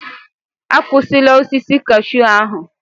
Akwụsịla osisi cashew ahụ!